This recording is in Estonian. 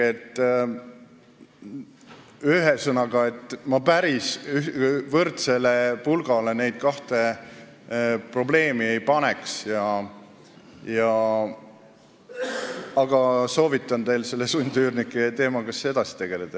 Ühesõnaga, ma päris võrdsele pulgale neid kahte probleemi ei paneks, aga soovitan teil sundüürnike teemaga edasi tegeleda.